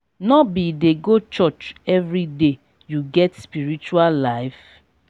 no be dey go church everyday you get spiritual life?